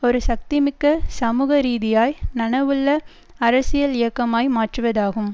ஒரு சக்திமிக்க சமூக ரீதியாய் நனவுள்ள அரசியல் இயக்கமாய் மாற்றுவதாகும்